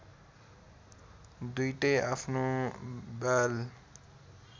दुईटै आफ्नो बाल